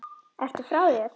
Ertu frá þér!